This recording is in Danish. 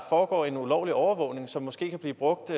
foregår en ulovlig overvågning som måske kan blive brugt